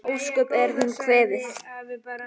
Ósköp er hún kvefuð.